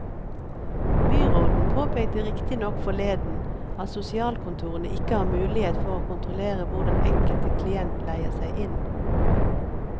Byråden påpekte riktig nok forleden at sosialkontorene ikke har mulighet for å kontrollere hvor den enkelte klient leier seg inn.